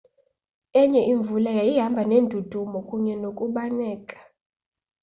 enye imvula yayihamba neendudumo kunye nokubaneka